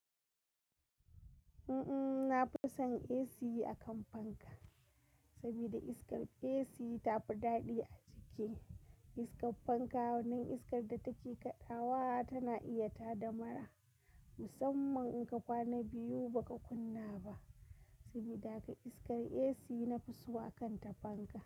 Mm-mm, na fi son AC akan fanka, saboda iskar AC tafi daɗi a jiki. Iskar fanka, wannan iskar da take kaɗawa tana iya tada mara, musamman in ka kwana biyu ba ka kunna ba. Sabida haka iskar AC na fi so akan ta fanka.